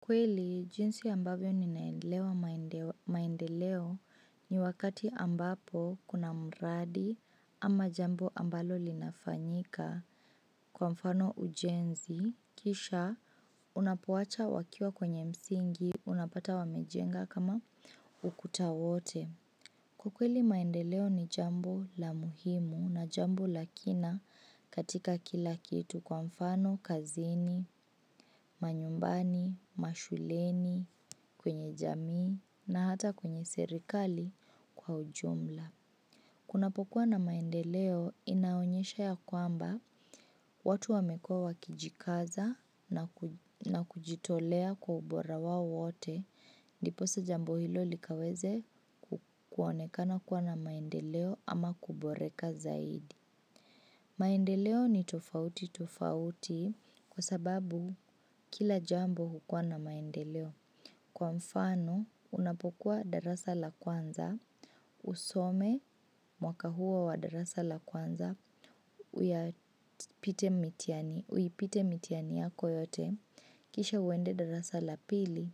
Kweli, jinsi ambavyo ninaelewa maendeleo ni wakati ambapo kuna mradi ama jambo ambalo linafanyika kwa mfano ujenzi, kisha unapoacha wakiwa kwenye msingi, unapata wamejenga kama ukuta wote. Ukweli maendeleo ni jambo la muhimu na jambo la kina katika kila kitu kwa mfano, kazini, manyumbani, mashuleni, kwenye jamii na hata kwenye serikali kwa ujumla. Kunapokuwa na maendeleo inaonyesha ya kwamba watu wamekua wakijikaza na kujitolea kwa ubora wao wote, ndiposa jambo hilo likaweze kuonekana kuwa na maendeleo ama kuboreka zaidi. Maendeleo ni tofauti tofauti kwa sababu kila jambo hukua na maendeleo. Kwa mfano, unapokuwa darasa la kwanza, usome mwaka huo wa darasa la kwanza, uipite mitiani yako yote, kisha uende darasa la pili,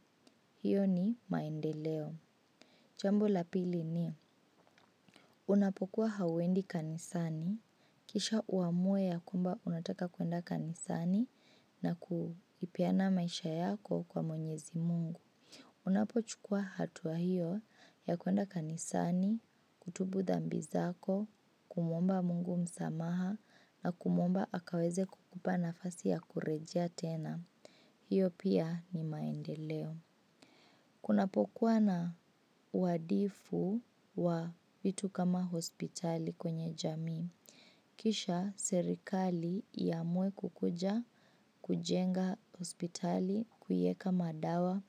hiyo ni maendeleo. Jambo la pili ni, unapokuwa hauendi kanisani, kisha uamue ya kwamba unataka kuenda kanisani na kuipeana maisha yako kwa mwenyezi mungu. Unapochukua hatua hiyo ya kuenda kanisani, kutubu dhambi zako, kumuomba mungu msamaha na kumuomba akaweze kukupa nafasi ya kurejea tena. Hiyo pia ni maendeleo. Kunapokuwa na uwadifu wa vitu kama hospitali kwenye jamii. Kisha serikali iamue kukuja, kujenga hospitali, kuiweka madawa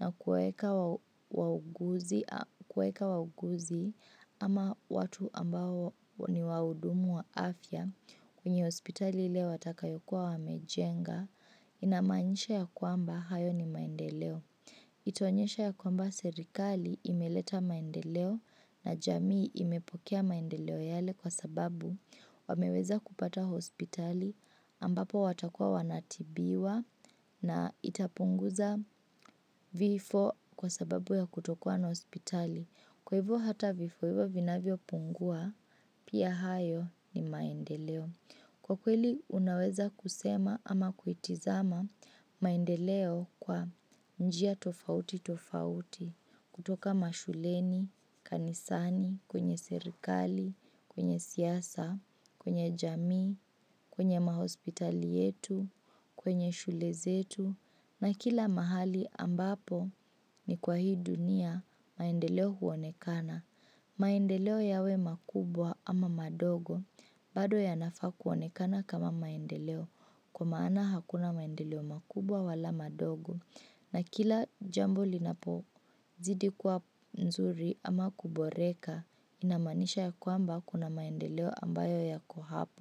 na kuweka wauguzi kuweka wauguzi ama watu ambao ni wahudumu wa afya kwenye hospitali ile watakayokuwa wamejenga, inamaanisha ya kwamba hayo ni maendeleo. Itaonyesha ya kwamba serikali imeleta maendeleo na jamii imepokea maendeleo yale kwa sababu wameweza kupata hospitali ambapo watakuwa wanatibiwa na itapunguza vifo kwa sababu ya kutokuwa na hospitali. Kwa hivyo hata vifo hivyo vinavyopungua pia hayo ni maendeleo. Kwa kweli unaweza kusema ama kuitizama maendeleo kwa njia tofauti tofauti kutoka mashuleni, kanisani, kwenye serikali, kwenye siasa, kwenye jamii, kwenye mahospitali yetu, kwenye shule zetu na kila mahali ambapo ni kwa hii dunia maendeleo huonekana. Maendeleo yawe makubwa ama mandogo bado yanafaa kuonekana kama maendeleo kwa maana hakuna maendeleo makubwa wala mandogo na kila jambo linapo zidi kuwa mzuri ama kuboreka inamanisha ya kwamba kuna maendeleo ambayo yako hapo.